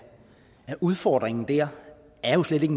udfordringen dér er jo slet ikke